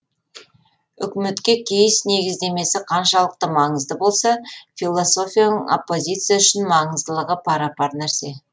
үкіметке кейс негіздемесі қаншалықты маңызды болса философияның оппозиция үшін маңыздылығы пара пар нәрсе